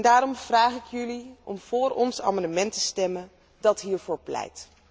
Daarom vraag ik jullie om vóór ons amendement te stemmen dat hiervoor pleit.